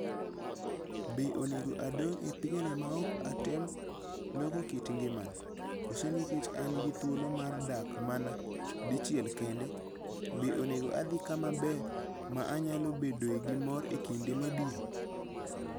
Be onego adong' e pinyni maok atem loko kit ngimana, koso nikech an gi thuolo mar dak mana dichiel kende, be onego adhi kama ber ma anyalo bedoe gi mor e kinde mabiro?"